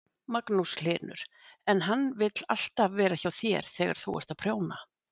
Magnús Hlynur: En hann vill alltaf vera hjá þér þegar þú ert að prjóna?